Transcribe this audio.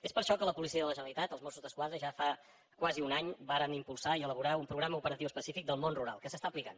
és per això que la policia de la generalitat els mossos d’esquadra ja fa quasi un any varen impulsar i elaborar un programa operatiu específic del món rural que s’està aplicant